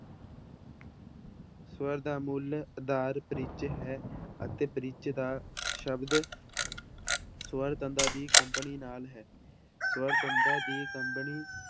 ਸਵਰ ਦਾ ਮੁੱਲ ਆਧਾਰ ਪਿੱਚ ਹੈ ਅਤੇ ਪਿੱਚ ਦਾ ਸ਼ਬਦ ਸਵਰ ਤੰਦਾਂ ਦੀ ਕੰਬਣੀ ਨਾਲ ਹੈ ਸਵਰ ਤੰਦਾਂ ਦੀ ਕੰਬਣੀ